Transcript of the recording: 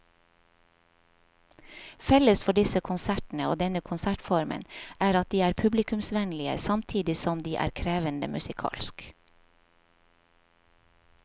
Felles for disse konsertene og denne konsertformen er at de er publikumsvennlige samtidig som de er krevende musikalsk.